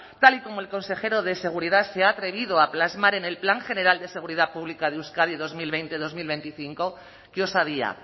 tal y como el consejero de seguridad se ha atrevido a plasmar en el plan general de seguridad pública de euskadi dos mil veinte dos mil veinticinco que osadía